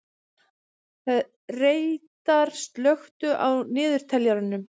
Reidar, slökktu á niðurteljaranum.